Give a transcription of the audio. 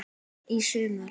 Í sumar.